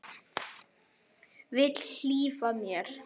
Vill hlífa mér.